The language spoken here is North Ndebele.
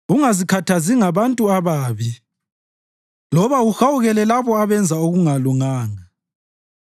Ungazikhathazi ngabantu ababi loba uhawukele labo abenza okungalunganga;